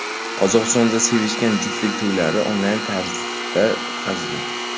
Qozog‘istonda sevishgan juftlik to‘ylarini onlayn tarzda o‘tkazdi .